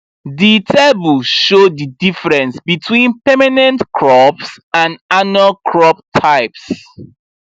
di table show di difference between permanent crops and annual crop types